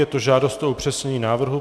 Je to žádost o upřesnění návrhu.